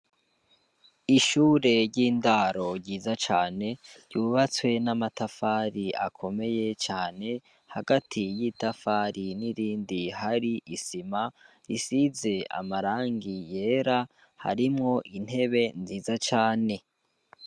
Ishure ry'indaro ryiza cane, ryubatswe n'amatafari akomeye cane. Hagati y'itafari n'irindi hari isima, isize amarangi yera, harimwo intebe nziza cane.